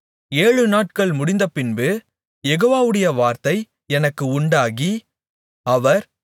ஏழுநாட்கள் முடிந்தபின்பு யெகோவாவுடைய வார்த்தை எனக்கு உண்டாகி அவர்